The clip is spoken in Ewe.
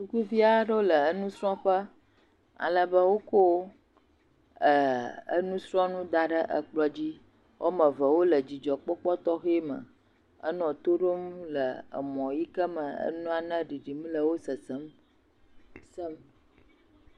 Sukuviawo le dzidzɔ kpɔkpɔ tɔxɛ me e ale be wokɔ nusrɔ̃nu da ɖe kplɔ dzi. Woame eve wole dzidzɔ kpɔkpɔ tɔxɛ me henɔ tɔ ɖom le emɔ yike me nane ɖiɖim le wò sesem.